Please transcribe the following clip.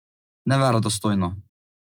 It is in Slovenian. Neverodostojno.